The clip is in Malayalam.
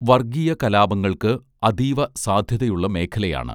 വർഗ്ഗീയ കലാപങ്ങൾക്ക് അതീവ സാധ്യതയുള്ള മേഖലയാണ്